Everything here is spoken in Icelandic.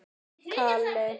Þau brostu.